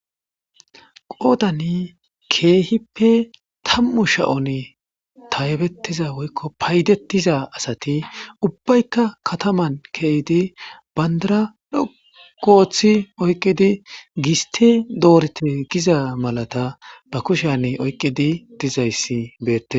Qoodani keehippe tam7u sha7on taybettiza woykko paydetiza asati ubbaykka kataman keehyydi bandara dhogooththi oyqidi gisti doorete giza malata ba kushan oyqqidi dizayssi beette.